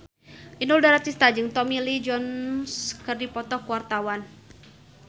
Inul Daratista jeung Tommy Lee Jones keur dipoto ku wartawan